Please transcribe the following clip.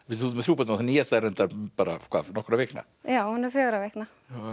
þú ert með þrjú börn nýjasta er reyndar bara nokkurra vikna já hún er fjögurra vikna